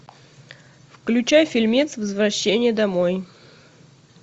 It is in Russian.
включай фильмец возвращение домой